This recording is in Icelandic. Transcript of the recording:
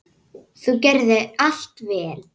Þú gerðir allt vel.